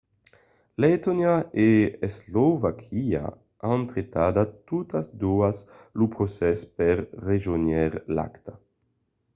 letònia e eslovaquia an retardat totas doas lo procès per rejónher l'acta